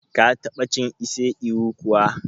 Ka ta ba cin ise ewu kuwa?